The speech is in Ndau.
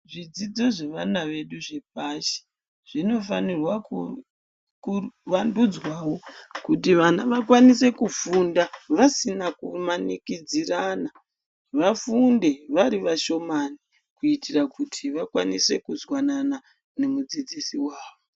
Zvidzidzo zvevana vedu zvepashi, zvinofanira kuvandudzwawo, kuti vana vakwanise kufunda vasina kumanikidzirana, vafunde vari vashomani kuitira kuti vakwanise kuzwanana nomudzidzisi wavo.